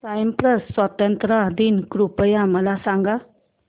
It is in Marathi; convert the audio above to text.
सायप्रस स्वातंत्र्य दिन कृपया मला सांगा